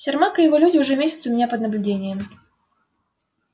сермак и его люди уже месяц у меня под наблюдением